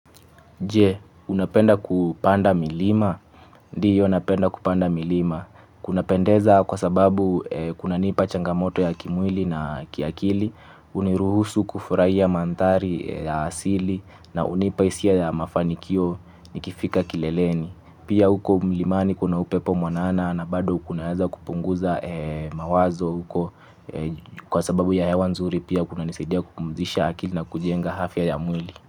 Je, unapenda kupanda milima? Ndiyo napenda kupanda milima, kunapendeza kwa sababu kuna nipa changamoto ya kimwili na kiakili, uniruhusu kufurahia manthari ya asili na unipa isia ya mafanikio nikifika kileleni. Pia uko mlimani kuna upepo mwanana na bado kunaeza kupunguza mawazo huko kwa sababu ya hewa nzuri pia kuna nisaidia kupumzisha akili na kujenga hafya ya mwili.